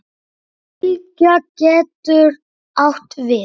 Fylgja getur átt við